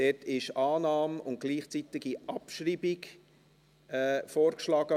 Von der Regierung wurde Annahme und gleichzeitige Abschreibung vorgeschlagen.